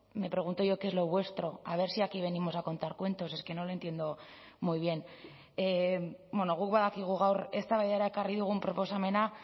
me pregunto yo qué es lo vuestro a ver si aquí venimos a contar cuentos es que no lo entiendo muy bien guk badakigu gaur eztabaidara ekarri dugun proposamena